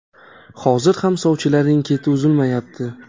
Hozir ham sovchilarning keti uzilmayapti.